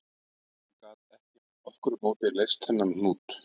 Hann gat ekki með nokkru móti leyst þennan hnút